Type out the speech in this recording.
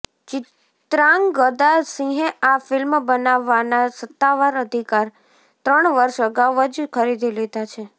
ચિત્રાંગદા સિંહે આ ફિલ્મ બનાવવાના સત્તાવાર અધિકાર ત્રણ વર્ષ અગાઉ જ ખરીદી લીધા છે